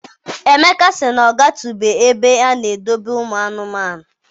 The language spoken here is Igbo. Emeka sị na ọ gatubeghị n'ebe a na-edobe ụmụ anụmanụ.